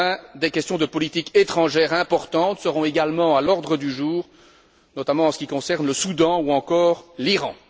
Enfin des questions de politique étrangère importantes seront également à l'ordre du jour, notamment en ce qui concerne le Soudan ou encore l'Iran.